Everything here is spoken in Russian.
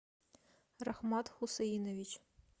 рахмат хусейнович